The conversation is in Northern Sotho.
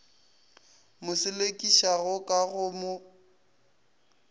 mo selekišago ka go mo